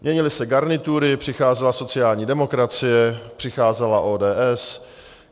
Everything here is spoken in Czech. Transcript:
Měnily se garnitury, přicházela sociální demokracie, přicházela ODS.